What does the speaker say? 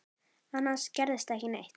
Annars gerðist ekki neitt.